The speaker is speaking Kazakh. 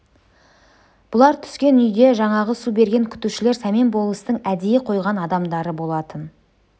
бұлар түскен үйде жаңағы сусын берген күтушілер сәмен болыстың әдейі қойған адамдары болатын